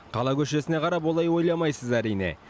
қала көшесіне қарап олай ойламайсыз әрине